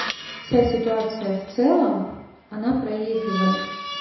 вся ситуация в целом она проигрывает